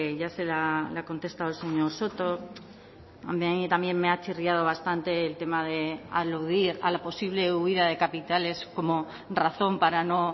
ya se le ha le ha contestado el señor soto a mí también me ha chirriado bastante el tema de aludir a la posible huida de capitales como razón para no